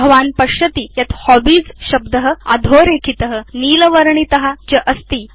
भवान् पश्यति यत् हॉबीज शब्द अधोरेखित नीलवर्णित च अस्ति